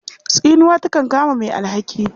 Tsinuwa takan kama mai alhaki.